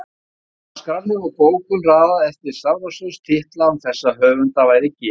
En á skránni var bókum raðað eftir stafrófsröð titla án þess að höfunda væri getið